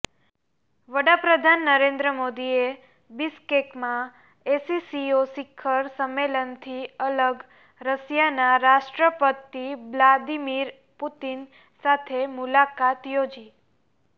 વડાપ્રધાન નરેન્દ્ર મોદીએ બિશ્કેકમાં એસસીઓ શિખર સમ્મેલનથી અલગ રશિયાનાં રાષ્ટ્રપતિ બ્લાદિમિર પુતિન સાથે મુલાકાત યોજી